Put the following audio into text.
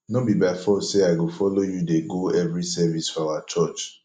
no be by force say i go follow you dey go every service for our church